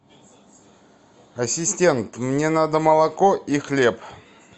ассистент мне надо молоко и хлеб